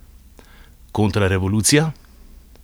Kontrarevolucija?